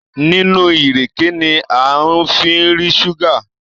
nínú ìrèké ní a fí ń rí ṣúgà